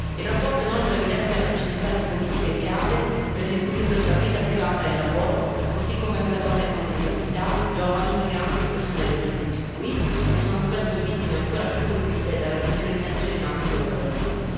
La relazione, inoltre, evidenzia la necessità di politiche mirate per l'equilibrio tra vita privata e lavoro, così come per donne con disabilità, giovani, migranti e persone LGBTQI, che sono spesso vittime ancora più colpite dalla discriminazione in ambito lavorativo.